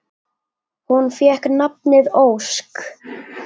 Hún fékk nafnið Ósk.